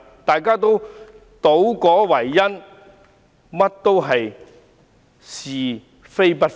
大家都倒果為因，是非不分。